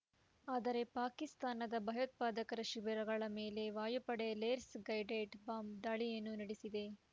ಆದರೆ ಪಾಕಿಸ್ತಾನದ ಭಯೋತ್ಪಾದಕರ ಶಿಬಿರಗಳ ಮೇಲೆ ವಾಯುಪಡೆ ಲೇಸ್ ಗೈಡೆಡ್‌ ಬಾಂಬ್‌ ದಾಳಿಯನ್ನು ನಡೆಸಿದೆ